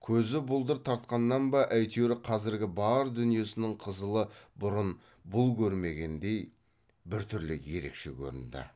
көзі бұлдыр тартқаннан ба әйтеуір қазіргі бар дүниесінің қызылы бұрын бұл көрмегендей біртүрлі ерекше көрінді